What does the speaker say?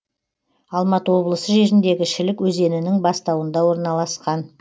алматы облысы жеріндегі шілік өзенінің бастауында орналасқан